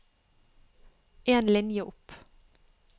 En linje opp